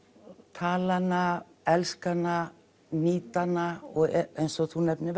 tala hana elska hana nýta hana eins og þú nefnir